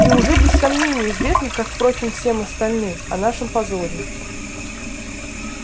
и уже без сомнения известно как впрочем и всем остальным о нашем позоре